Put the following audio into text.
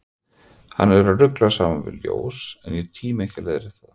Hann er að rugla saman við ljós, en ég tími ekki að leiðrétta það.